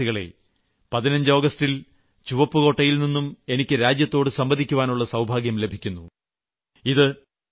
പ്രിയപ്പെട്ട ദേശവാസികളെ ആഗസ്റ്റ് 15 ന് ചുവപ്പ്കോട്ടയിൽ നിന്നും എനിക്ക് രാജ്യത്തെ അഭിസംബോധന ചെയ്യുവാനുളള സൌഭാഗ്യം ലഭിക്കും